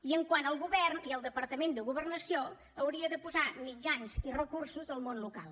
i quant al govern i al departament de governació haurien de posar mitjans i recursos al món local